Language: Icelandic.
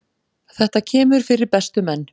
Þetta kemur fyrir bestu menn.